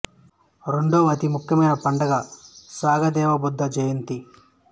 రెండవ అతి ముఖ్యమైన పండుగ సాగా దావా బుద్ధ జయంతి